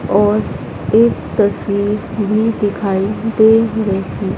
और एक तस्वीर भी दिखाई दे रही--